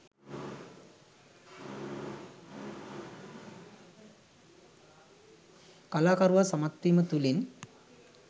කලාකරුවා සමත්වීම තුළින්